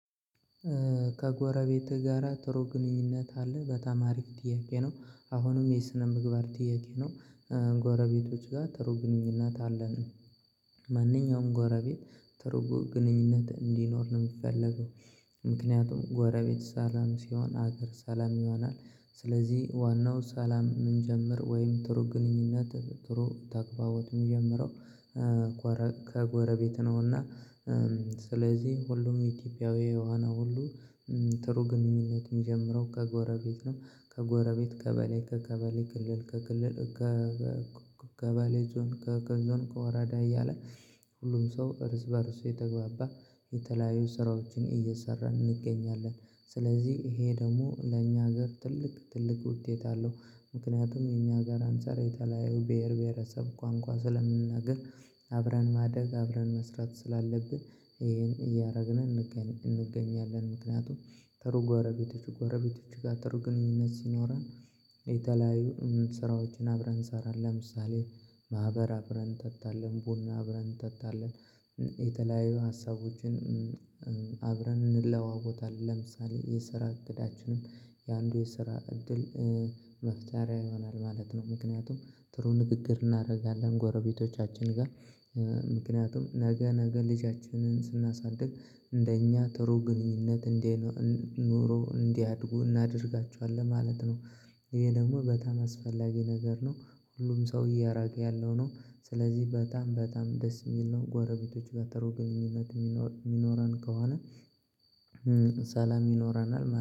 ከጎረቤትህ ጋራ ጥሩ ግንኙነት አለ በጣም አሪፍ ጥያቄ ነው አሁንም የስነ ምግባር ጥያቄ ነው። ጎረቤቶች ጋር ጥሩ ግንኙነት አለን። ማንኛውም ጎረቤት ጥሩ ግንኙነት እንዲኖር ነው የሚፈለገው። ምክንያቱም ጎረቤት ሰላም ሲሆን ሀገር ሰላም ይሆናል። ስለዚህ ዋናው ሰላም የሚጀምረው ወይም ጥሩ ግንኙነት ጥሩ ተግባቦት የሚጀምረው ከጎረቤት ነውና። ስለዚህ ሁሉም ኢትዮጵያዊ የሆነ ሁሉ ጥሩ ግንኙነት የሚጀምረው ከጎረቤት ነው። ከጎረቤት ቀበሌ ከቀበሌ ክልል ከክልል ቀበሌ ዞን ከገዞን ከወራዳ እያለ። ሁሉም ሰው እርስ በእርስ እየተግባባ የተለያዩ ስራዎችን እየሰራን እንገኛለን። ስለዚህ ይሄ ደግሞ ለኛ ሀገር ትልቅ ትልቅ ውጤት አለው። ምክንያቱም እኛ ሀገር አንፃር የተለያዩ ብሄር ብሄረሰብ ቋንቋ ስለምንነግር አብረን ማደግ አብረን መስራት ስላለብን ይሄን እያደረግን እንገኛለን። ምክንያቱም ጥሩ ጎረቤቶች ጎረቤቶች ጋር ጥሩ ግንኙነት ሲኖረን የተለያዩ ስራዎችን አብረን እንሰራለን ለምሳሌ ማህበር አብረን እንጠጣለን ቡና አብረን እንጠጣለን። የተለያዩ ሀሳቦችን አብረን እንለዋወጣለን ለምሳሌ የስራ እቅዳችንም የአንዱ የስራ እድል መፍጠሪያ ይሆናል ማለት ነው። ምክንያቱም ጥሩ ንግግር እናደርጋለን ከጎረቤቶቻችን ጋር ምክንያቱም ነገ ነገ ልጃችንን ስናሳድግ እንደኛ ጥሩ ግንኙነት እንድኖረው እንዲያድጉ እናደርጋቸዋለን ማለት ነው። ይሄ ደግሞ በጣም አስፈላጊ ነገር ነው። ሁሉም ሰው እያራቀ ያለው ነው። ስለዚህ በጣም በጣም ደስ የሚል ነው ጓረቤቶች ጋር ጥሩ ግንኙነት የሚኖረን ከሆነ። ሰላም ይኖረናል።